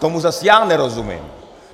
Tomu zase já nerozumím.